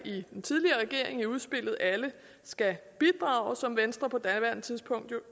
i den tidligere regering i udspillet alle skal bidrage som venstre på daværende tidspunkt jo